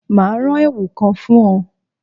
Mà á ran èwù kan fún ọ́